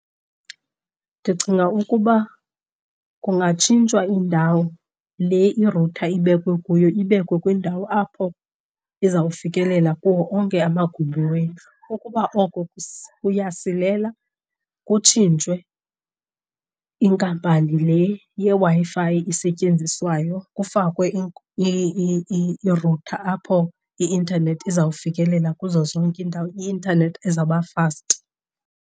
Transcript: Ndicinga ukuba kungatshintshwa indawo le i-router ibekwe kuyo, ibekwe kwindawo apho iza kufikelela kuwo onke amagumbi wendlu. Ukuba oko kuyasilela kutshintshwe inkampani le yeWi-Fi isetyenziswayo kufakwe i-router apho i-intanethi izawufikelela kuzo zonke iindawo, i-intanethi ezawuba fast.